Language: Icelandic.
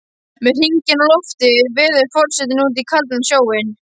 Með hringinn á lofti veður forsetinn út í kaldan sjóinn.